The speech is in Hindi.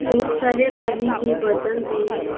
बहुत सारे पानी की बोतल भी है।